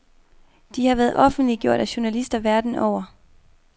De har været offentliggjort af journalister verden over.